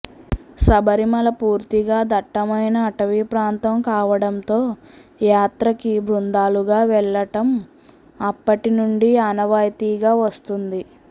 శబరిమల పూర్తిగా దట్టమైన అటవీ ప్రాంతం కావడంతో యాత్రకి బృందాలుగా వెళ్ళటం అప్పటి నుండి ఆనవాయితీగా వస్తుంది